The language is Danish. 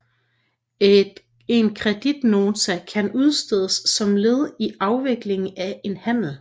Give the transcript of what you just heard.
En kreditnota kan udstedes som led i afvikling af en handel